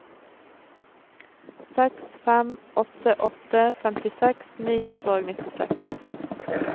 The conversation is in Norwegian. seks fem åtte åtte femtiseks ni hundre og nittiseks